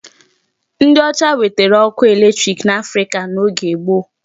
Ndị ọcha wetere ọkụ electric n'Africa n'oge gboo.